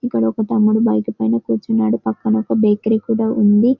ఇక్కడ తమ్ముడు బైక్ పైన కూర్చున్నాడు పక్కన ఒక బేకరీ కూడా ఉంది.